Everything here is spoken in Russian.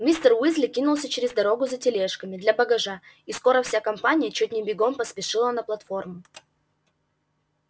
мистер уизли кинулся через дорогу за тележками для багажа и скоро вся компания чуть не бегом поспешила на платформу